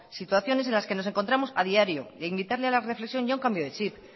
situaciones en las que nos encontramos a diario e invitarle a la reflexión y a un cambio de chip